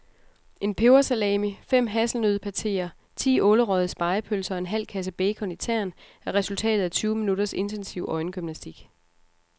En pebersalami, fem hasselnøddepateer, ti ålerøgede spegepølser og en halv kasse bacon i tern er resultatet af tyve minutters intensiv øjengymnastik.